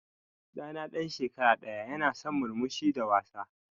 Ɗa na ɗan shekara ɗaya ya na son murmushi da wasa.